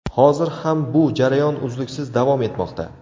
Hozir ham bu jarayon uzluksiz davom etmoqda.